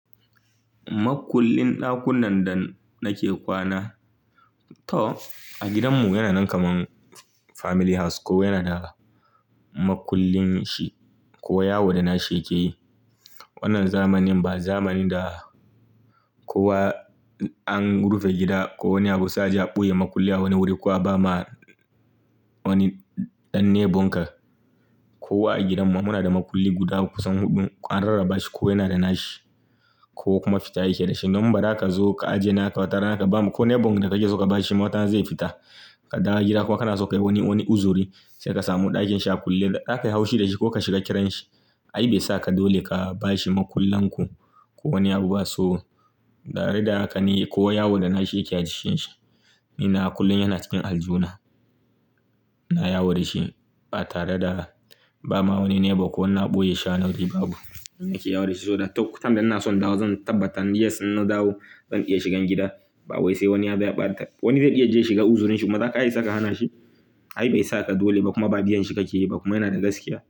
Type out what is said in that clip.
Makullin ɗakunan da nake kwana, to a gidanmu yana nan kaman family house kowa yana da makullin shi kowa yawo da nashi yake yi. Wannan zamanin ba zamanin da kowa an rufe gida ko wani abu sai a je a ɓoye makulli a wani wuri ko a ba ma wani ɗan nebonka. Kowa a gidanmu muna da makulli guda kusan huɗu an rarraba shi kowa yana da na shi ko kuma fita yake da shi. Don bada ka zo ka ajiye naka wata rana ka bama ko nebonka da kake son ka bashi watarana zai fita ka dawo gida kuma kana so ka yi wani uzuri sai ka samu ɗakin shi a kulle. Kakkai hau shi da shi ko ka shiga kiranshi. Ai bai sa ka dole ka ba shi makullan ku ko wani abu ba. So, ɗare da haka ne ko yawar da na shi yake a jikin shi. Ina kullum yana cikin aljuna, na yawo da shi ba tare da ba ma wani neba ko wani a ɓoye sha na wuri babu. Ni nake yawo da shi saboda to kutam da na so in dawo zan tabbatar yes na dawo zan iya shiga gida. Ba wai sai wani ya bayar, wani zai iya je shi ga uzurin shi kuma za ka isa ka hana shi. Ai bai sa ka dole ba kuma ba biyan shi kake yi ba kuma yana da gaskiya.